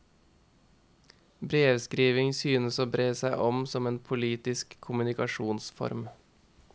Brevskrivning synes å bre seg som en ny politisk kommunikasjonsform.